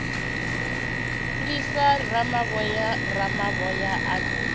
lwisa ramavhoya ramavhoya o ḓo